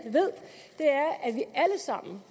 sammen